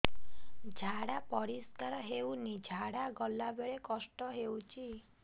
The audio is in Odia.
ଝାଡା ପରିସ୍କାର ହେଉନି ଝାଡ଼ା ଗଲା ବେଳେ କଷ୍ଟ ହେଉଚି